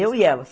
Eu e ela.